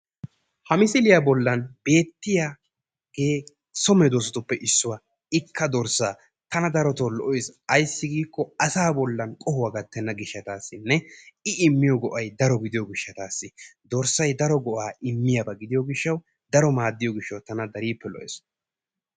ha misilliya bolan beetiya so medoosatuppe issuwaa ikka dorsaa tana darotoo lo'ees, ayssi giikko, asaa bollan qohuwaa gatenna gishataassinne i immiyo go'ay daro gidiyo gishshawu dorsay daro go'aa immiyaba gidiyo gishawu daro maadiyaba tana dariippe lo'ees.